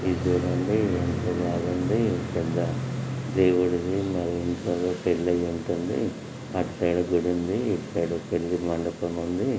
గుడుంది అటుసైడ్ గుడుంది ఇటు సైడ్ పెళ్లి మండపం ఉంది.